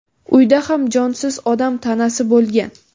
uyda ham jonsiz odam tanasi bo‘lgan.